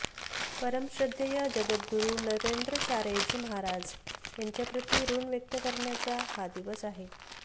परमश्रद्धेय जगद्गुरू नरेंद्राचार्यजी महाराज यांच्याप्रती ऋण व्यक्त करण्याचा हा दिवस आहे